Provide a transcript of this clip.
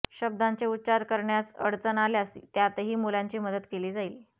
शब्दांचे उच्चार करण्यास अडचण आल्यास त्यातही मुलांची मदत केली जाईल